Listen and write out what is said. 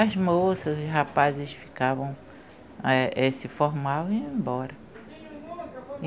As moças, os rapazes ficavam, eh eh se formavam e iam embora.